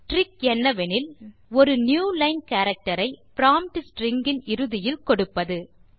trick என்னவெனில் ஒரு newline character ஐ ப்ராம்ப்ட் ஸ்ட்ரிங் இன் இறுதியில் கொடுப்பது